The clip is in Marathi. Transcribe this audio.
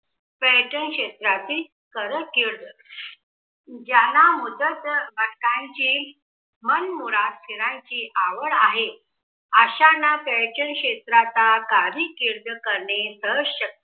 पर्यटनक्षेत्रातील ज्यांना मनमुराद फिरायची आवड आहे, अशांना पर्यटन क्षेत्रात कार्य कीर्द करणे सहज शक्य